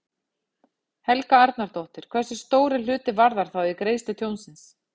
Helga Arnardóttir: Hversu stór er hluti Varðar þá í greiðslu tjónsins?